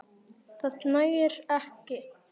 Það nægir ekki.